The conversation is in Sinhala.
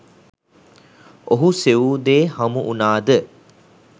ඔහු සෙවූ දේ හමු වුණා ද?